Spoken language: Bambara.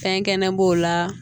Fɛn kɛnɛ b'o la